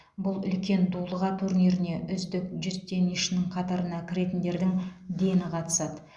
бұл үлкен дулыға турниріне үздік жүз теннисшінің қатарына кіретіндердің дені қатысады